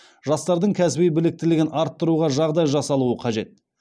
жастардың кәсіби біліктілігін арттыруға жағдай жасалуы қажет